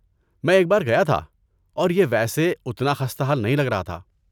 میں ایک بار گیا تھا، اور یہ ویسے اتنا خستہ حال نہیں لگ رہا تھا۔